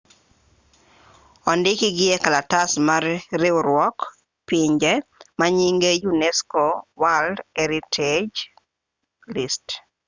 odikgi e kalatas mar riwruok pinje manyinge unesco world heritage list